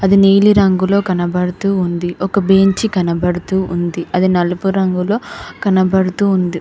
అది నీలిరంగులో కనబడుతూ ఉంది. ఒక బేంచి కనపడుతూ ఉంది. అది నలుపు రంగులో కనబడుతూ ఉంది.